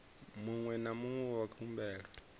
muṅwe na muṅwe wa khumbelo